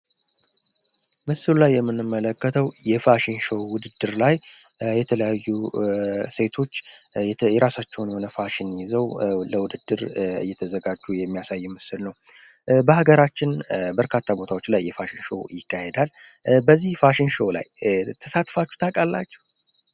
ምስሉ ላይ የምንመለከተው የፋሽን ሾው ውድድር ላይ የተለያዩ ሴቶች የይራሳቸውን የሆነ ፋሽን ይዘው ለውድድር እየተዘጋጁ የሚያሳይ ምስል ነው። በሀገራችን በርካታ ቦታዎች ላይ የፋሽን ሾው ይካሄዳል። በዚህ ፋሽን ሸው ላይ ተሳትፋችሁ ታውቃላችሁ?